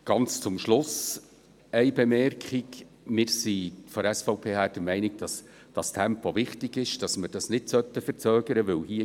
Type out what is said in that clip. Ganz zum Schluss eine Bemerkung: Wir von der SVP sind der Meinung, dass dieses Tempo wichtig ist und dass wir es nicht verzögern sollten.